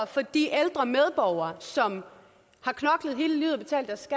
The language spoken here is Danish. for de ældre medborgere som har knoklet hele livet